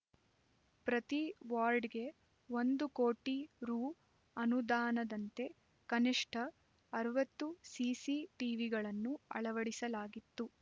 ಪ್ರತಿ ವಾರ್ಡ್‌ಗೆ ಒಂದು ಕೋಟಿ ರೂ ಅನುದಾನದಂತೆ ಕನಿಷ್ಠ ಅರವತ್ತು ಸಿಸಿ ಟಿವಿಗಳನ್ನು ಅಳವಡಿಸಲಾಗಿತ್ತು